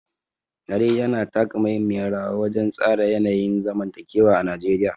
Yare yana taka muhimmiyar rawa wajen tsara yanayin zamantakewa a Najeriya.